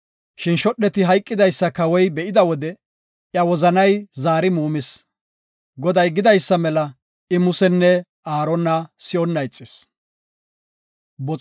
Shin shodheti hayqidaysa kawoy be7ida wode iya wozanay zaari muumis. Goday gidaysa mela I Musenne Aarona si7onna ixis.